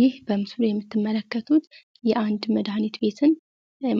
ይህ በምስሉ የምትመለከቱት የአንድ መድኃኒት ቤትን